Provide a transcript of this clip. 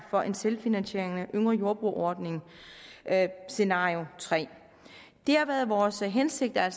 for en selvfinansierende yngre jordbruger ordning scenarie tredje det har været vores hensigt at